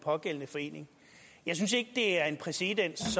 pågældende forening jeg synes ikke det er en præcedens